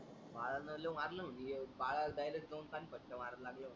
बाळाल लय मारल म्हणजे बाळाल direct नेऊन पाच फटका मारायला लागल.